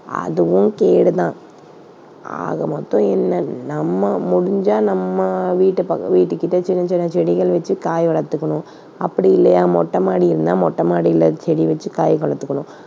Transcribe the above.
அதுவும் கேடு தான். ஆக மொத்தம் என்ன நம்ம முடிஞ்சா நம்ம வீட்டு பக்கம் வீட்டு கிட்ட சின்ன, சின்ன செடிகள் வச்சு காய் வளர்த்துக்கணும். அப்படி இல்லையா மொட்ட மாடி இருந்தா, மொட்டைமாடியில செடி வச்சு காய் வளர்த்துக்கணும்.